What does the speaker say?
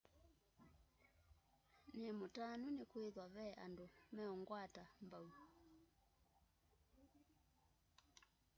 nimutanu nikwithwa ve andu meungwata mbau